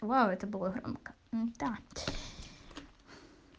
вау это было мм да